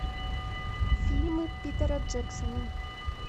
фильмы питера джексона